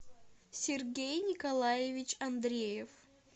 сергей николаевич андреев